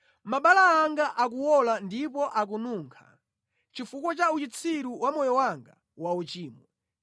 Mabala anga akuwola ndipo akununkha chifukwa cha uchitsiru wa moyo wanga wauchimo.